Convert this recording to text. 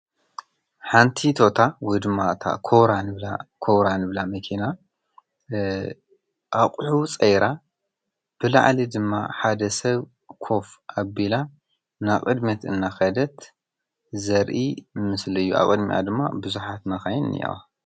ሓንቲቶታ ወድማ እታ ራንላ ኮውራን እብላ መኬና ኣቝሑ ፀይራ ብለዓሌ ድማ ሓደ ሰብ ኰፍ ኣቢላ ናብ ቅድሜት እና ኸደት ዘርኢ ምስለዩ ኣቐድሚያ ድማ ብዙኃት መኸይን ኒኤዋ።